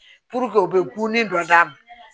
u bɛ gulon dɔ d'a ma